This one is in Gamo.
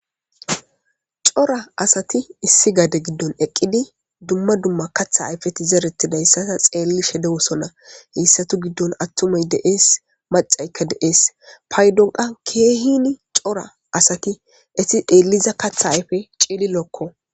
Cora asati issi gade giddon eqqidi dumma dumma katha ayfeti zeretidayssata xeelli shede wosonna heyssatu giddon attumay deees macaykka deees paydonqa keehini cora asati esi deelliza katha ayfe ceelilookko